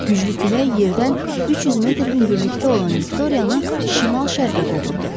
Güclü külək yerdən 300 metr hündürlükdə olan Viktoriyanı şimal-şərqə qovurdu.